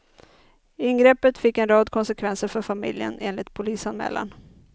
Ingreppet fick en rad konsekvenser för familjen, enligt polisanmälan.